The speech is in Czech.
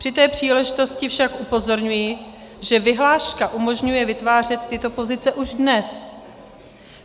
Při té příležitosti však upozorňuji, že vyhláška umožňuje vytvářet tyto pozice už dnes.